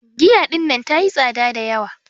Giya ɗinnan ta yi tsaɗa da yawa.